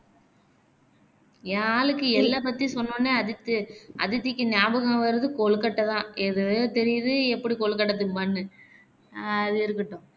என் ஆளுக்கு எள்ள பத்தி சொன்னோனே அடுத்து அதித்திக்கு நியாபகம் வர்றது கொழுக்கட்டை தான் தெரியுது எப்படி கொழுக்கட்டை திம்பான்னு